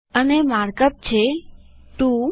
અને mark up છે 2